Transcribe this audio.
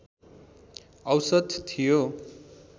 औसत थियो